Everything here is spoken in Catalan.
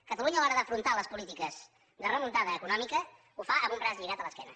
catalunya a l’hora d’afrontar les polítiques de remuntada econòmica ho fa amb un braç lligat a l’esquena